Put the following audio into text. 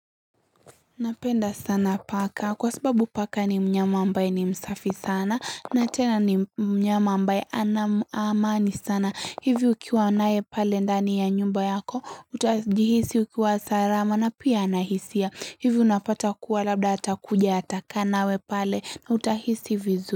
Napenda sana paka kwa sababu paka ni mnyama ambaye ni msafi sana na tena ni mnyama ambaye anam amani sana hivi ukiwa nae pale ndani ya nyumba yako utajihisi ukiwa sarama na pia anahisia hivi unapata kuwa labda atakuja atakaanawe pale na utahisi vizu.